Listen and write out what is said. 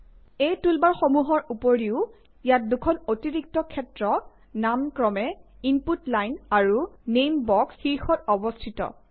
এই টুলবাৰসমূহৰ উপৰিও ইয়াত দুখন অতিৰিক্ত ক্ষেত্ৰ নাম ক্ৰমে ইনপুট লাইন আৰু নেইম বক্স শীৰ্ষত অৱষ্ঠিত